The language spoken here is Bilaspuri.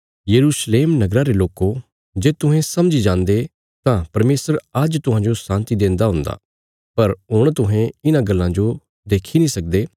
यरूशलेम नगरा रे लोको जे तुहें समझी जान्दे तां परमेशर आज्ज तुहांजो शान्ति देन्दा हुन्दा पर हुण तुहें इन्हां गल्लां जो देक्खी नीं सकदे